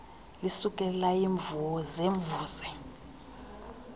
lisuke layimvuze mvuze